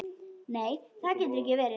Nei, það getur ekki verið.